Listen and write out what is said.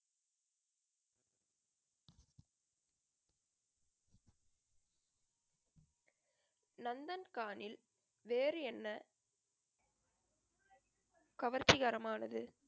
நந்தன் வேறு என்ன கவர்ச்சிகரமானது